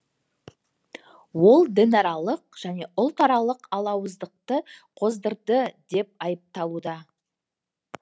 ол дінаралық және ұлтаралық алауыздықты қоздырды деп айыпталуда